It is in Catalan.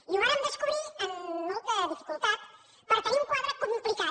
i ho vàrem descobrir amb molta dificultat per tenir un quadre complicat